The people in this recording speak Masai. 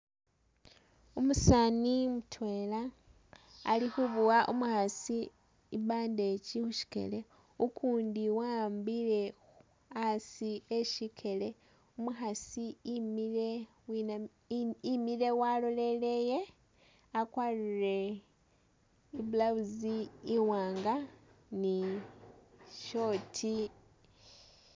Umusaani mutwela ali khubowa umukhasi i'bandage khushikele, ukundi wa'ambile khu asi e shikele, umukhasi imile winamile I imile walolereye wakwarire i'blouse iwanga ni short